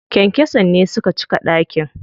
Kyankyason ne suka cika ɗakin.